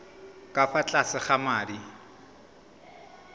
ka fa tlase ga madi